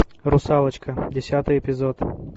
русалочка десятый эпизод